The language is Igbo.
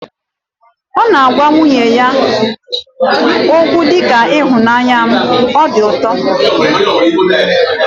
Ọ na-agwa nwunye ya okwu dị ka 'ịhụnanya m', o di ụtọ